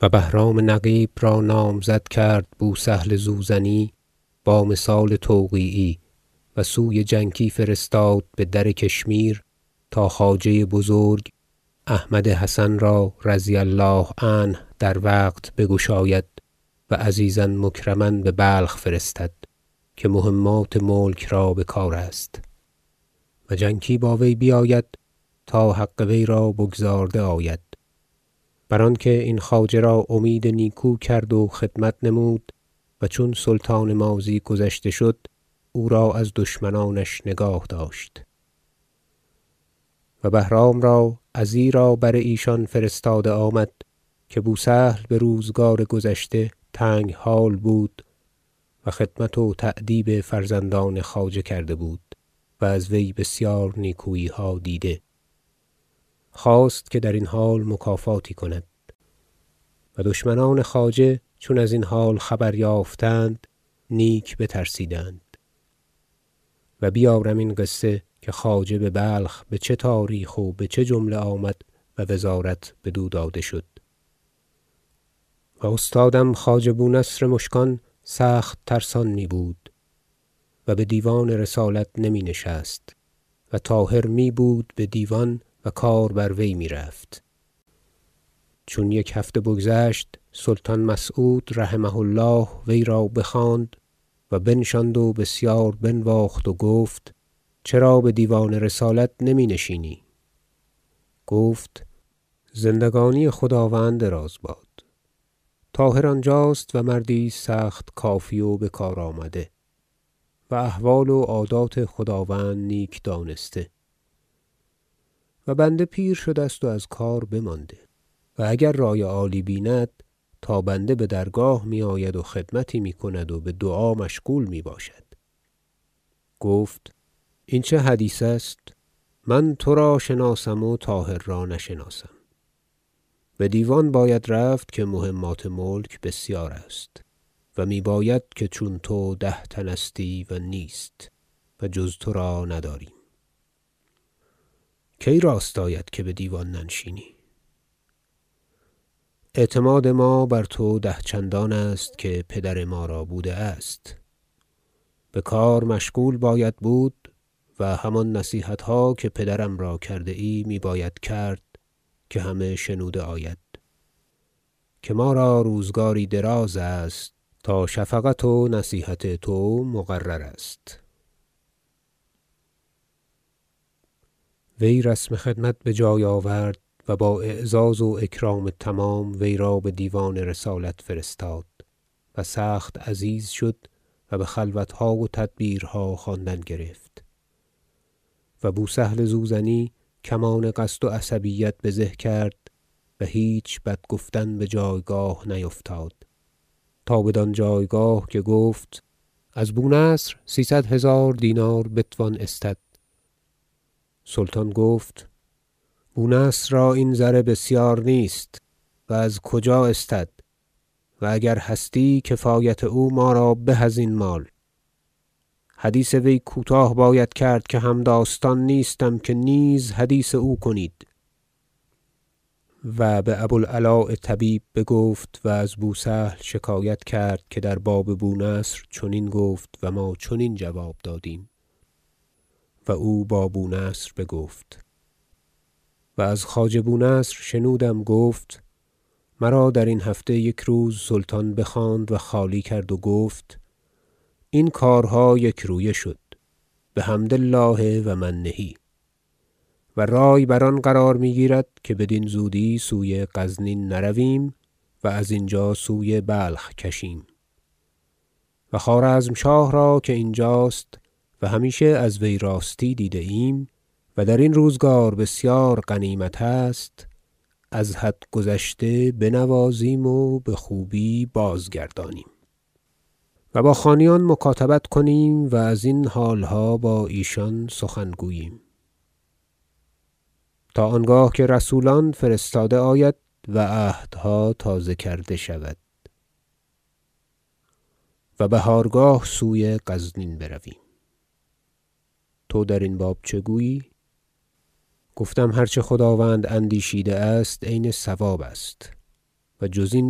و بهرام نقیب را نامزد کرد بوسهل زوزنی با مثال توقیعی و سوی جنکی فرستاد به در کشمیر تا خواجه بزرگ احمد حسن را -رضی الله عنه- در وقت بگشاید و عزیزا مکرما به بلخ فرستد که مهمات ملک را بکارست و جنکی با وی بیاید تا حق وی را بگزارده آید بر آنکه این خواجه را امید نیکو کرد و خدمت نمود و چون سلطان ماضی گذشته شد او را از دشمنانش نگاه داشت و بهرام را ازیرا بر ایشان فرستاده آمد که بوسهل به روزگار گذشته تنگ حال بود و خدمت و تأدیب فرزندان خواجه کرده بود و از وی بسیار نیکوییها دیده خواست که در این حال مکافاتی کند و دشمنان خواجه چون از این حال خبر یافتند نیک بترسیدند و بیارم این قصه که خواجه به بلخ به چه تاریخ و به چه جمله آمد و وزارت بدو داده شد و استادم خواجه بونصر مشکان سخت ترسان میبود و به دیوان رسالت نمی نشست و طاهر میبود به دیوان و کار بر وی میرفت چون یک هفته بگذشت سلطان مسعود -رحمه الله- وی را بخواند و بنشاند و بسیار بنواخت و گفت چرا به دیوان رسالت نمی نشینی گفت زندگانی خداوند دراز باد طاهر آنجاست و مردی است سخت کافی و بکارآمده و احوال و عادات خداوند نیک دانسته و بنده پیر شده است و از کار بمانده و اگر رأی عالی بیند تا بنده به درگاه می آید و خدمتی میکند و به دعا مشغول میباشد گفت این چه حدیث است من ترا شناسم و طاهر را نشناسم به دیوان باید رفت که مهمات ملک بسیار است و میباید که چون تو ده تن استی و نیست و جز ترا نداریم کی راست آید که به دیوان ننشینی اعتماد ما بر تو ده چندان است که پدر ما را بوده است به کار مشغول باید بود و همان نصیحت ها که پدرم را کرده ای می باید کرد که همه شنوده آید که ما را روزگاری دراز است تا شفقت و نصیحت تو مقرر است وی رسم خدمت به جای آورد و با اعزاز و اکرام تمام وی را به دیوان رسالت فرستاد و سخت عزیز شد و به خلوتها و تدبیرها خواندن گرفت و بوسهل زوزنی کمان قصد و عصبیت بزه کرد و هیچ بد گفتن به جایگاه نیفتاد تا بدان جایگاه که گفت از بونصر سیصد هزار دینار بتوان استد سلطان گفت بونصر را این زر بسیار نیست و از کجا استد و اگر هستی کفایت او ما را به از این مال حدیث وی کوتاه باید کرد که همداستان نیستم که نیز حدیث او کنید و با بوالعلاء طبیب بگفت و از بوسهل شکایت کرد که در باب بونصر چنین گفت و ما چنین جواب دادیم و او با بونصر بگفت و از خواجه بونصر شنودم گفت مرا درین هفته یک روز سلطان بخواند و خالی کرد و گفت این کارها یکرویه شد بحمد الله و منه و رأی بر آن قرار میگیرد که بدین زودی سوی غزنین نرویم و از اینجا سوی بلخ کشیم و خوارزمشاه را که اینجاست و همیشه از وی راستی دیده ایم و در این روزگار بسیار غنیمت است از حد گذشته بنوازیم و بخوبی بازگردانیم و با خانیان مکاتبت کنیم و ازین حالها با ایشان سخن گوییم تا آنگاه که رسولان فرستاده آید و عهدها تازه کرده شود و بهارگاه سوی غزنین برویم تو در این باب چه گویی گفتم هر چه خداوند اندیشیده است عین صوابست و جز این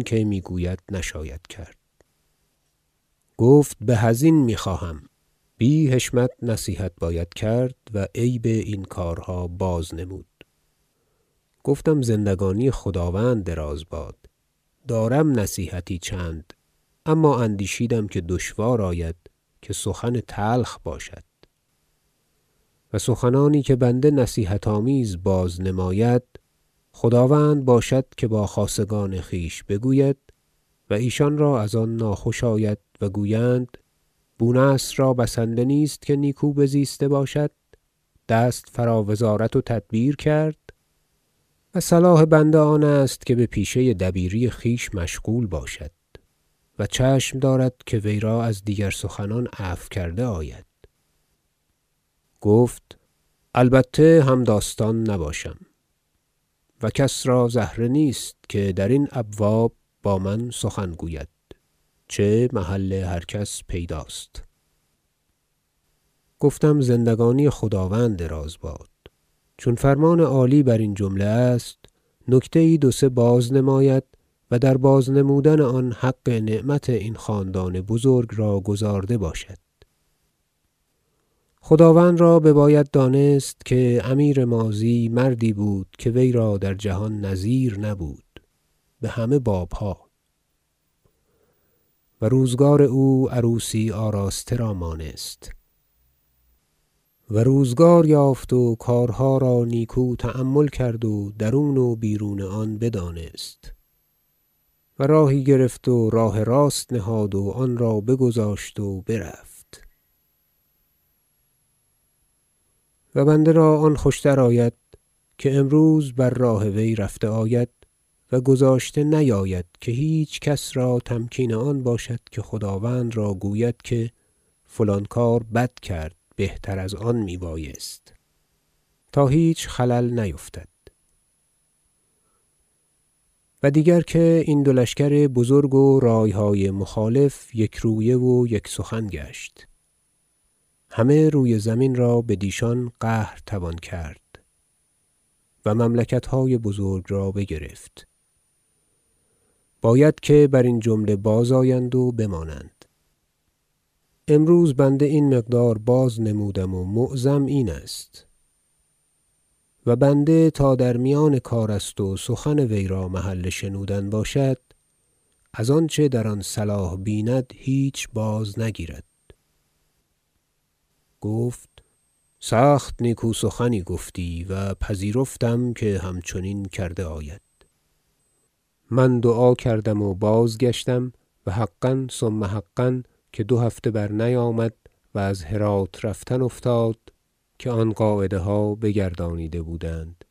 که میگوید نشاید کرد گفت به ازین میخواهم بی حشمت نصیحت باید کرد و عیب این کارها بازنمود گفتم زندگانی خداوند دراز باد دارم نصیحتی چند اما اندیشیدم که دشوار آید که سخن تلخ باشد و سخنانی که بنده نصیحت آمیز بازنماید خداوند باشد که با خاصگان خویش بگوید و ایشان را از آن ناخوش آید و گویند بونصر را بسنده نیست که نیکو بزیسته باشد دست فرا وزارت و تدبیر کرد و صلاح بنده آن است که به پیشه دبیری خویش مشغول باشد و چشم دارد که وی را از دیگر سخنان عفو کرده آید گفت البته همداستان نباشم و کس را زهره نیست که درین ابواب با من سخن گوید چه محل هر کس پیداست گفتم زندگانی خداوند دراز باد چون فرمان عالی بر این جمله است نکته یی دو سه بازنماید و در بازنمودن آن حق نعمت این خاندان بزرگ را گزارده باشد خداوند را بباید دانست که امیر ماضی مردی بود که وی را در جهان نظیر نبود به همه بابها و روزگار او عروسی آراسته را مانست و روزگار یافت و کارها را نیکو تأمل کرد و درون و بیرون آن بدانست و راهی گرفت و راه راست نهاد و آن را بگذاشت و برفت و بنده را آن خوش تر آید که امروز بر راه وی رفته آید و گذاشته نیاید که هیچکس را تمکین آن باشد که خداوند را گوید که فلان کار بد کرد بهتر از آن میبایست تا هیچ خلل نیفتد و دیگر که این دو لشکر بزرگ و رأیهای مخالف یکرویه و یک سخن گشت همه روی زمین را بدیشان قهر توان کرد و مملکت های بزرگ را بگرفت باید که برین جمله بازآیند و بمانند امروز بنده این مقدار بازنمودم و معظم این است و بنده تا در میان کار است و سخن وی را محل شنودن باشد از آنچه در آن صلاح بیند هیچ بازنگیرد گفت سخت نیکو سخنی گفتی و پذیرفتم که هم چنین کرده آید من دعا کردم و بازگشتم و حقا ثم حقا که دو هفته برنیامد و از هرات رفتن افتاد که آن قاعده ها بگردانیده بودند